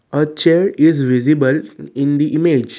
a chair is visible in the image.